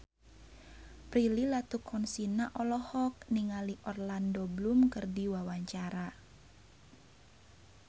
Prilly Latuconsina olohok ningali Orlando Bloom keur diwawancara